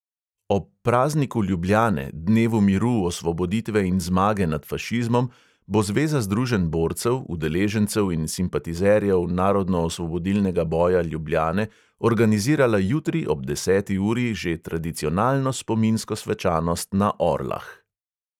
Ob prazniku ljubljane, dnevu miru, osvoboditve in zmage nad fašizmom, bo zveza združenj borcev, udeležencev in simpatizerjev narodnoosvobodilnega boja ljubljane organizirala jutri ob deseti uri že tradicionalno spominsko svečanost na orlah.